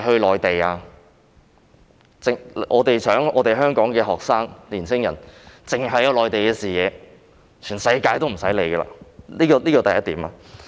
難道我們希望香港的學生和年輕人只擁有內地的視野，而無須理會世界其他地方？